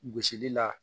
Gosili la